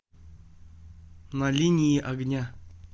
на линии огня